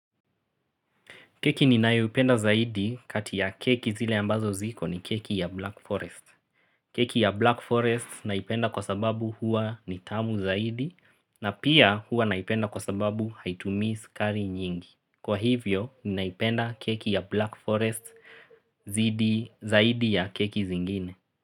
Keki ninayoipenda zaidi kati ya keki zile ambazo ziko ni keki ya Black Forest. Keki ya Black Forest naipenda kwa sababu huwa ni tamu zaidi na pia huwa naipenda kwa sababu haitumii sukari nyingi. Kwa hivyo, naipenda keki ya Black Forest zaidi ya keki zingine.